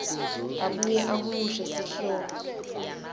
abuye ahumushe sihloko